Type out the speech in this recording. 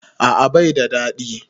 A'a bai da daɗi